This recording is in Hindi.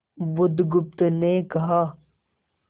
बुधगुप्त ने कहा